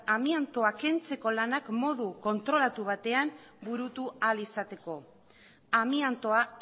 amiantoa kentzeko lanak modu kontrolatu batean burutu ahal izateko amiantoa